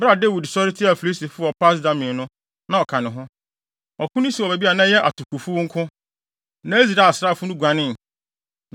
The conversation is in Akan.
Bere a Dawid sɔre tiaa Filistifo wɔ Pas-Damim no, na ɔka ne ho. Ɔko no sii wɔ baabi a na ɛyɛ atokofuw nko, na Israel asraafo no guanee.